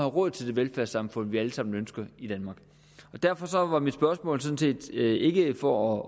råd til det velfærdssamfund vi alle sammen ønsker i danmark derfor var mit spørgsmål sådan set ikke for